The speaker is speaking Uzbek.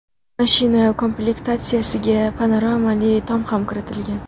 Mashina komplektatsiyasiga panoramali tom ham kiritilgan.